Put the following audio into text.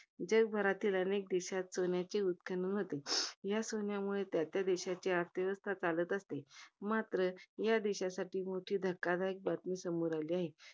जगभरातील अनेक देशात सोन्याचे उत्खनन होते. या सोन्यामुळे त्या त्या देशाची अर्थव्यवस्था चालत असते. मात्र, या देशासाठी मोठी धक्कादायक बातमी समोर आलेली आहे.